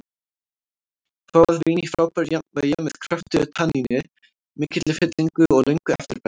Fágað vín í frábæru jafnvægi, með kröftugu tanníni, mikilli fyllingu og löngu eftirbragði.